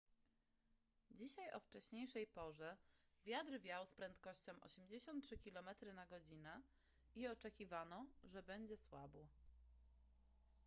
dzisiaj o wcześniejszej porze wiatr wiał z prędkością 83 km/godz. i oczekiwano że będzie słabł